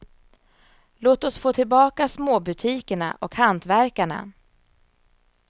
Låt oss få tillbaka småbutikerna och hantverkarna.